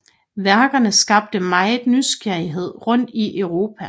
Værkerne skabte meget nysgerrighed rundt i Europa